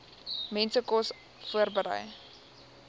mense kos voorberei